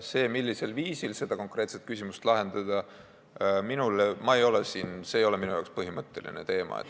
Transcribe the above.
See, millisel viisil see konkreetne küsimus lahendada, ei ole minu jaoks põhimõtteline teema.